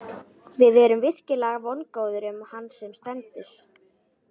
Við erum virkilega vongóðir um hann sem stendur.